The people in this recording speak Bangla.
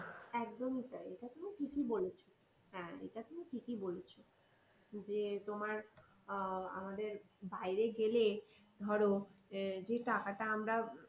একদমই তাই এটা তুমি ঠিকই বলেছো। হ্যাঁ এটা তুমি ঠিকই বলেছো যে তোমার আহ আমাদের বাইরে গেলে ধরো যে টাকাটা আমরা